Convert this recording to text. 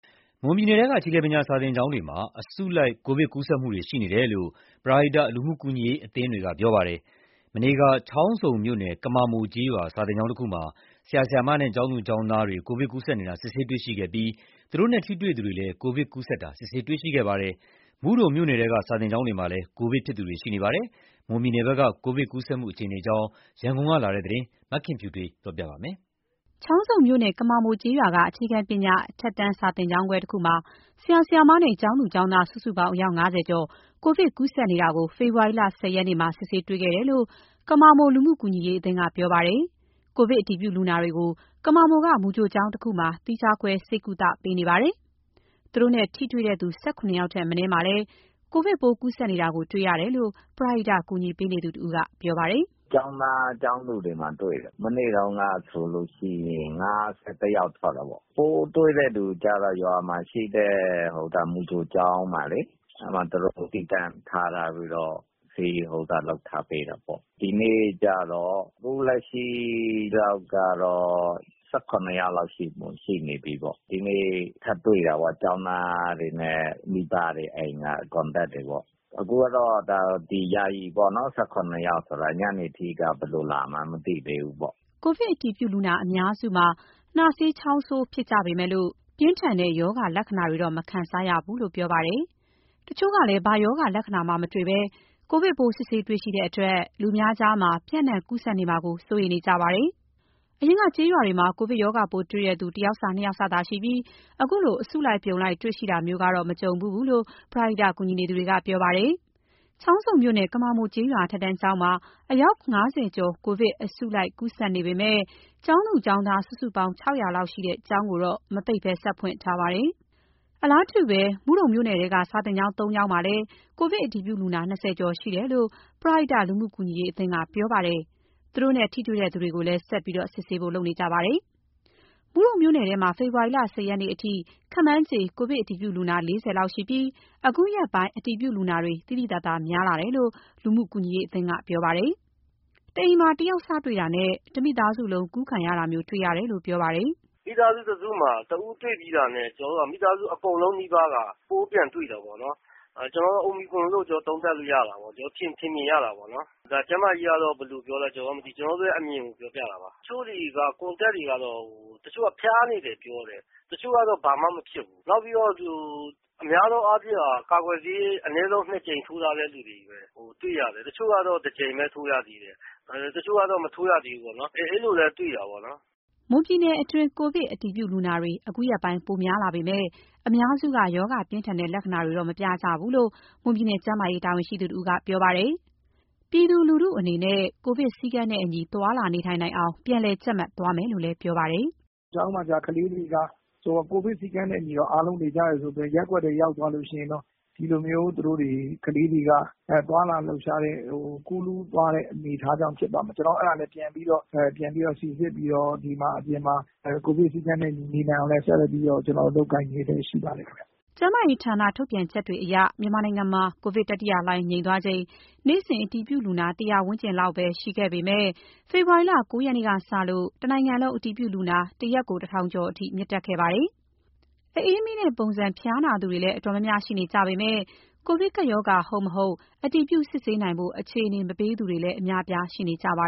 မွန်ပြည်နယ်ထဲက အခြေခံပညာ စာသင်ကျောင်းတွေမှာ အစုလိုက် ကိုဗစ်ကူးစက်မှုတွေ ရှိနေတယ်လို့ ပရဟိတလူမှုကူညီရေးအသင်းတွေက ပြောပါတယ်။ မနေ့က ချောင်းဆုံမြို့နယ် ကမာမိုကျေးရွာ စာသင်ကျောင်းတခုမှာ ဆရာ၊ ဆရာမနဲ့ ကျောင်းသူ၊ ကျောင်းသား အယောက် ၅၀ ကျော် ကိုဗစ်ကူးစက်နေတာ စစ်ဆေးတွေ့ရှိခဲ့ပြီး သူတို့နဲ့ထိတွေ့သူ ၁၇ ယောက်လည်း ကိုဗစ်ကူးစက်တာ စစ်ဆေးတွေ့ရှိခဲ့ပါတယ်။ မုဒုံမြို့နယ် ထဲက စာသင်ကျောင်းတွေမှာလည်း ကိုဗစ်ဖြစ်သူတွေ ရှိနေပါတယ်။ မွန်ပြည်နယ်ဘက်က ကိုဗစ်ကူးစက်မှု အခြေအနေအကြောင်း ရန်ကုန်ကလာတဲ့သတင်းကို မခင်ဖြူထွေးက တင်ပြထားပါတယ်။ ချောင်းဆုံမြို့နယ် ကမာမိုကျေးရွာက အခြေခံပညာ အထက်တန်းစာသင်ကျောင်းခွဲတခုမှာ ဆရာ ဆရာမနဲ့ ကျောင်းသူ ကျောင်းသား စုစုပေါင်း အယောက် ၅၀ ကျော် ကိုဗစ်ကူးစက်နေတာ ဖေဖော်ဝါရီ ၁၀ ရက်နေ့ မှာ ဆေးစစ်တွေ့ရှိခဲ့တယ်လို့ ကမာမို လူမှုကူညီရေးအသင်းက ပြောပါတယ်။ ကိုဗစ်အတည်ပြုလူနာတွေကို ကမာမိုက မူကြိုကျောင်းတခုမှာ သီးခြားခွဲ ဆေးကုသမှုပေးနေပါတယ်။ သူတို့နဲ့ ထိတွေ့သူတွေ ၁၇ ယောက် ထက်မနည်းမှာလည်း ကိုဗစ်ပိုးကူးစက်နေတာ တွေ့ရတယ်လို့ ပရဟိတကူညီသူတဦးကပြောပါတယ်။ “ကျောင်းသား၊ ကျောင်းသူတွေမှာ တွေ့တယ်။ မနေ့တုန်းကဆိုလို့ရှိရင် ၅၁ ယောက်ထွက်တယ်ပေါ့။ ပိုးတွေ့ တဲ့လူတွေကျတော့ ရွာမှာရှိတဲ့ မူကြိုကျောင်းမှာလေး အဲ့မှာ သူတို့ သီးသန့်ထားထားပြီးတော့ ဆေးလုပ်ထားပေးတယ်ပေါ့။ ဒီနေ့ အခုလက်ရှိကတော့ ၁၇ ယောက်လောက်ရှိနေပြီးပေါ့။ ဒီနေ့ထပ်တွေ့တာပေါ့။ ကျောင်းသားတွေနဲ့မိဘတွေ အိမ်က contacts တွေပေါ့။ အခုကတော့ ယာယီပေါ့နော်၊ ၁၇ ယောက်ဆိုတာ ညနေအထိက ဘယ်လိုလာမှန်း မသိသေးဘူးပေါ့။” ကိုဗစ်အတည်ပြုလူနာအများစုမှာ နှာစေး ချောင်းဆိုးဖြစ်ကြပေမယ့် ပြင်းထန်တဲ့ ရောဂါလက္ခဏာတွေတော့ မခံစားရဘူးလို့ပြောပါတယ်။ တချို့ကလည်း ဘာရောဂါ လက္ခဏာမှမတွေ့ဘဲ ကိုဗစ်ပိုးစစ်ဆေးတွေ့ရှိတဲ့အတွက် လူအများကြား ပျံ့နှံ့ ကူးစက်နေမှာကို စိုးရိမ်နေကြပါတယ်။ အရင်က ကျေးရွာတွေမှာ ကိုဗစ်ရောဂါပိုးတွေ့ရှိသူ တယောက်စ နှစ်ယောက်စသာရှိပြီး အခုလို အစုလိုက် အပြုံလိုက် တွေ့တာမျိုး မကြုံဖူးဘူးလို့ ပရဟိကူညီနေသူတွေက ပြောပါတယ်။ ချောင်းဆုံမြို့နယ်၊ ကမာမိုကျေးရွာ အထက်တန်းကျောင်းမှာ အယောက် ၅၀ ကျော် ကိုဗစ် အစုလိုက်အပြုံလိုက် ကူးစက်နေပေမယ့် ကျောင်းသူ ကျောင်းသား စုစုပေါင်း ၆၀၀ လောက်ရှိတဲ့ ကျောင်းကိုတော့ မပိတ်ဘဲ ဆက်ဖွင့်ထားပါတယ်။ အလားတူ မုဒုံမြို့နယ်ထဲက စာသင်ကျောင်း ၃ ကျောင်းမှာ ကိုဗစ်အတည်ပြုလူနာ ၂၀ ကျော်ရှိတယ်လို့ ပရဟိတလူမှုကူညီရေးအသင်းက ပြောပါတယ်။ သူတို့နဲ့ ထိတွေ့သူတွေကိုလည်း ဆက်လက်စစ်ဆေးသွားဖို့လုပ်နေကြပါတယ်။ မုဒုံမြို့နယ်ထဲမှာ ဖေဖော်ဝါရီလ ၁၀ ရက်အတွင်းမှာ ခန့်မှန်းခြေ ကိုဗစ်အတည်ပြုလူနာ ၄၀ လောက်ရှိပြီး အခုရက်ပိုင်း အတည်ပြုလူနာတွေ သိသိသာသာများလာကြောင်း လူမှုကူညီရေးအသင်းက ပြောပါတယ်။ တအိမ်မှာ တယောက်စ တွေ့လာတာနဲ့ တမိသားစုလုံး စက်ကူးခံရတာမျိုး တွေ့ရတယ်လို့ ပြောပါတယ်။ “မိသားစုတစုမှာ တဦးတွေ့ပြီဆိုတာနဲ့ မိသားစု အကုန်လုံးနီးပါးက ပိုးပြန်တွေ့တာပေါ့နော်။အိုမီခရွန်လို့ သုံးသပ် လို့ရတာပေါ့။ ထင်မြင်ရတာပေါ့နော်။ ကျန်းမာရေးကတော့ ဘယ်လိုလဲ ကျနော်တို့လည်း မသိ။ ကျနော်တို့ အမြင်ကို ပြောပြတာပါ။ တချို့ contact တွေကတော့ တချို့က ဖျားနေတယ်ပြောတယ်။ တချို့ ကတော့ ဘာမှမဖြစ်ဘူး။ နောက်ပြီးတော့ များသောအားဖြင့်က ကာကွယ်ဆေး အနည်းဆုံးထိုးထားတဲ့ လူတွေကြီးပဲ တွေ့တာပဲ။ တချို့က တကြိမ်ပဲ ထိုးရသေးတယ်။ တချို့ကတော့ မထိုးရသေးဘူးပေါ့နော်။ အဲ့လိုလည်း တွေ့တာပေါ့။” မွန်ပြည်နယ်အတွင်း ကိုဗစ်အတည်ပြုလူနာတွေ အခုရက်ပိုင်း ပိုများလာပေမယ့် အများစုက ရောဂါပြင်းထန် တဲ့ လက္ခဏာတွေတော့ မပြကြဘူးလို့ မွန်ပြည်နယ် ကျန်းမာရေးတာဝန်ရှိတဦးက ပြောပါတယ်။ ပြည်သူလူထုအနေနဲ့ ကိုဗစ်စည်းကမ်းနဲ့ အညီ သွားလာနေထိုင်နိုင်အောင် ပြန်လည်ကြပ်မတ်သွားမယ်လို့ ပြောပါတယ်။ “ကျောင်းမှာကျ ကလေးတွေက ကိုဗစ်စည်းကမ်းနဲ့အညီတော့ အားလုံးနေကြတယ်ဆိုပေမယ့် ရပ်ကွက်ထဲရောက်သွားလို့ရှိရင် ကလေးတွေက သွားလာလှုပ်ရှားတယ်၊ ကူးလူးသွားတဲ့အနေအထားကြောင့် ဖြစ်ပါမယ်။ အဲ့ဒါလည်း ပြန်ပြီးတော့ စီစစ်ပြီးတော့ အပြင်မှာ ကိုဗစ်စည်းကမ်းနဲ့ အညီနေနိုင်အောင်လည်း ဆက်လက်ပြီးတော့ လုပ်ကိုင်နေလျက်ရှိပါတယ်ခင်ဗျ။” ကျန်းမာရေးဌာနထုတ်ပြန်ချက်တွေအရ မြန်မာနိုင်ငံမှာ ကိုဗစ် တတိယလှိုင်းငြိမ်သွားချိန် နေ့စဉ် အတည်ပြုလူနာ ၁၀၀ ဝန်းကျင်လောက်သာရှိခဲ့ပေမယ့် ဖေဖော်ဝါရီလ ၉ ရက်နေ့ကစလို့ တနိုင်ငံလုံး အတည်ပြုလူနာ တစ်ရက်ကို ၁,၀၀၀ ကျော်အထိ မြင့်တက်ခဲ့ပါတယ်။ အအေးမိတဲ့ပုံစံ ဖျားနာသူတွေလည်း တော်တော်များများ ရှိနေကြပေမယ့် ကိုဗစ်ကပ်ရောဂါ ဟုတ် မဟုတ် အတည်ပြု စစ်ဆေးနိုင်ဖို့ အခြေအနေမပေးဘဲ ခက်ခဲသူတွေလည်း အများအပြားရှိနေကြပါ